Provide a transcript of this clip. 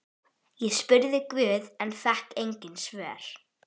Ég spurði guð en fékk engin svör.